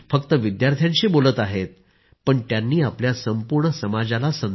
I was mediocre and today I have reached difficult milestones in my carrier